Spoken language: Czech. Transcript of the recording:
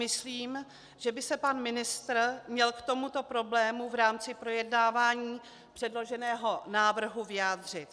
Myslím, že by se pan ministr měl k tomuto problému v rámci projednávání předloženého návrhu vyjádřit.